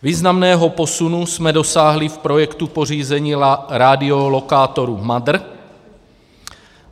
Významného posunu jsme dosáhli v projektu pořízení radiolokátoru MADR.